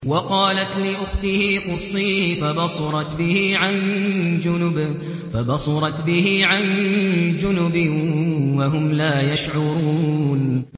وَقَالَتْ لِأُخْتِهِ قُصِّيهِ ۖ فَبَصُرَتْ بِهِ عَن جُنُبٍ وَهُمْ لَا يَشْعُرُونَ